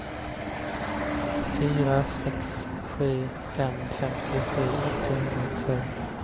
fyra sex sju fem femtiosju åttahundratvå